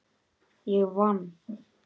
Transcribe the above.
Ég vann!